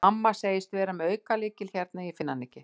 Mamma segist vera með aukalykil hérna en ég finn hann ekki.